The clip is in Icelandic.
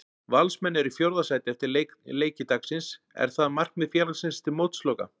Valsmenn eru í fjórða sæti eftir leiki dagsins, er það markmið félagsins til mótsloka?